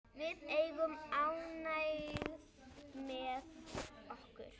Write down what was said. Við erum ánægð með okkar.